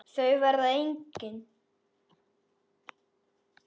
Þau verða engin.